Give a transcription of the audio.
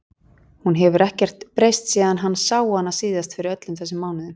Hún hefur ekkert breyst síðan hann sá hana síðast fyrir öllum þessum mánuðum.